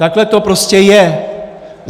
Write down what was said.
Takhle to prostě je.